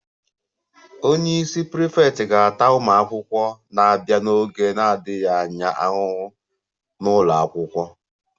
Onye isi prefect ga-ata ụmụ akwụkwọ na-abịa n'oge na-adịghị anya ahụhụ n'ụlọ akwụkwọ